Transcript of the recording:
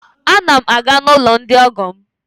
A na m na-aga n'ụlọ ndi ọgọ m